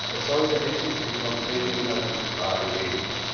Es sollte endlich um konkrete inhaltliche Fragen gehen.